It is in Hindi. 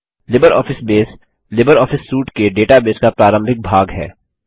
लिबरऑफिस बेस लिबरऑफिस सूट के डेटाबेस का प्रारंभिक भाग है